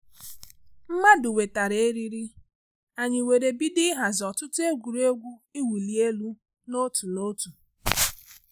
Mmadụ wetara eriri, anyị were bido ịhazi ọtụtụ egwuregwu iwu li elu na otu na otu